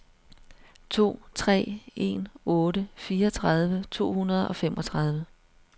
to tre en otte fireogtredive to hundrede og femogtredive